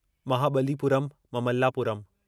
Mahabalipuram Mamallapuram